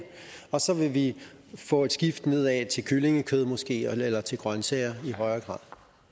og så vil vi få et skift nedad til kyllingekød måske eller til grøntsager i højere grad